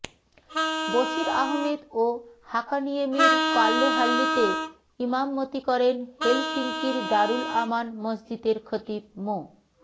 বশির আহমেদ ও হাকানিয়েমির পাল্লোহাল্লিতে ইমামতি করেন হেলসিংকির দারুল আমান মসজিদের খতিব মো